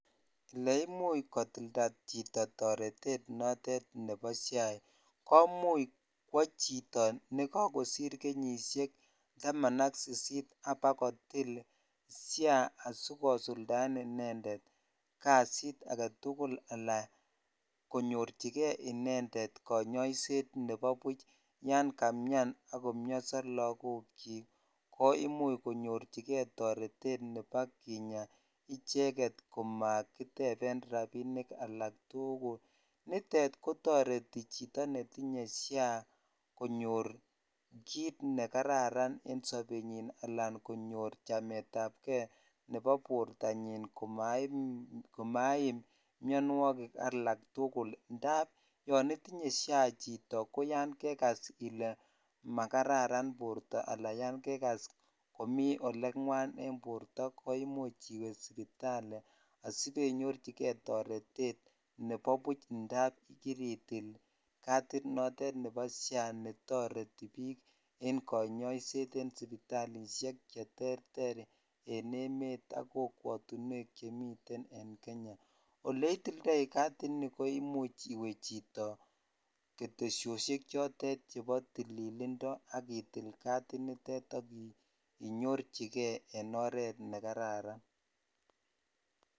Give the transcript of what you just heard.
Oleimuch kotildo chito toretet notet nebo SHA komuch kwoo chito nekokosir kenyishek taman ak sisit abakotil SHA asikosuldaen inendet kasit aketukul alaa konyorchike inendet konyoiset nebo buch yon kamian ak komioso lokokyik ko imuch konyorchike toretet nebo kina icheket komakiteben rabinik alak tukul, nitet kotoreti chito netinye SHA konyor kiit nekararan en sobenyin alaa konyor chametabke nebo bortanyin komaim mionwokik alak tukul ndab yoon itinye SHA chito ko yoon kekas ilee makararan borto alaa yoon kekas komii oleng'wan en borto koimuch iwee sipitali asibenyorchike toretet nebo buch ndab kiritil cadit notet nebo SHA netoreti biik en konyoiset en sipitalishek cheterter en emet ak kokwotinwek chemiten en Kenya, oleitildoi katini koimuch iwee chito ketesosiek chebo tililindo ak itil kadinitet chito ak inyorchike en oreet nekararan.